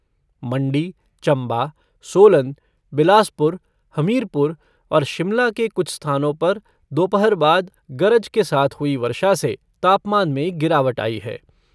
मण्डी, चम्बा, सोलन, बिलासपुर हमीरपुर और शिमला के कुछ स्थानों पर दोपहर बाद गरज के साथ हुई वर्षा से तापमान में गिरावट आई है।